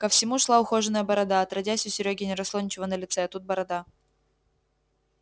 ко всему шла ухоженная борода отродясь у серёги не росло ничего на лице а тут борода